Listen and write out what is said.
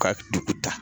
Ka dugu ta